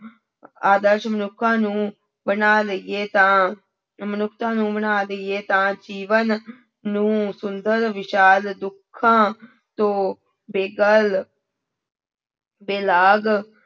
ਆਦਰਸ਼ ਮਨੁੱਖਾਂ ਨੂੰ ਬਣਾ ਲਈਏ ਤਾਂ ਮਨੁੱਖਤਾ ਨੂੰ ਬਣਾ ਲਈਏ ਤਾਂ ਜੀਵਨ ਨੂੰ ਸੁੰਦਰ ਵਿਸ਼ਾਲ ਦੁੱਖਾਂ ਤੋਂ ਬੇਗਲ ਬੇਲਾਗ